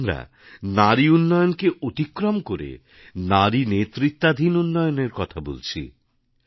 আজ আমরা নারী উন্নয়নকে অতিক্রম করে নারী নেতৃত্বাধীন উন্নয়নের কথা বলছি